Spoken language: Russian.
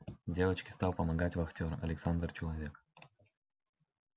девочке стал помогать вахтер александр человек